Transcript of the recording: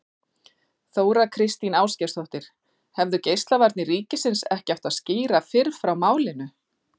Þóra Kristín Ásgeirsdóttir: Hefðu Geislavarnir ríkisins ekki átt að skýra fyrr frá málinu?